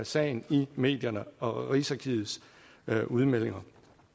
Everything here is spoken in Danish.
sagen i medierne og rigsarkivets udmeldinger